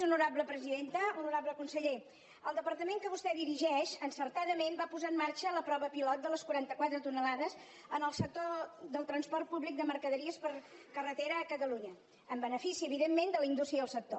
honorable conseller el departament que vostè dirigeix encertadament va posar en marxa la prova pilot de les quaranta quatre tones en el sector del transport públic de mercaderies per carretera a catalunya en benefici evidentment de la indústria i el sector